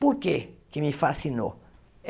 Por que que me fascinou?